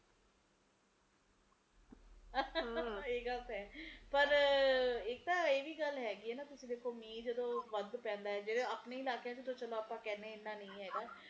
ਇਹ ਗੱਲ ਤਾ ਹੈ ਪਰ ਇੱਕਤਾ ਇਹ ਵੀ ਗੱਲ ਹੈ ਗਈ ਕਿ ਮੀਹ ਜਦੋ ਵੱਧ ਪੈਂਦਾ ਹੈ ਆਪਣੇ ਇਲਾਕਿਆਂ ਚ ਆਪਾ ਜਦੋ ਕਿਹਨੇ ਆ ਇੰਨਾ ਨਹੀਂ ਹੇਗਾ